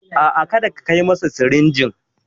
A'a, kada ka kai masa sirinjin.